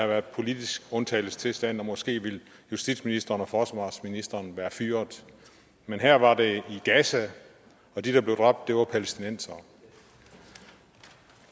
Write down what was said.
været politisk undtagelsestilstand og måske ville justitsministeren og forsvarsministeren være blevet fyret men her var det i gaza og de der blev dræbt var palæstinensere